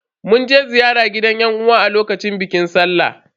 Mun je ziyara gidan yan uwa a lokacin bikin sallah.